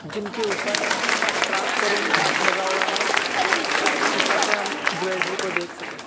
जिनके ऊपर ट्रांसपेरेंट कांच लगा हुआ है ताकि ऊपर से हम ज्वेलरी को देख सके।